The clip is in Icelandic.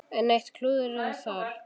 Enn eitt klúðrið þar!